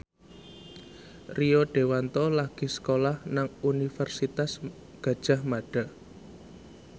Rio Dewanto lagi sekolah nang Universitas Gadjah Mada